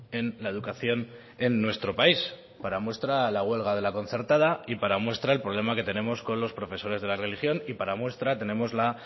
en la educación en nuestro país para muestra la huelga de la concertada y para muestra el problema que tenemos con los profesores de la religión y para muestra tenemos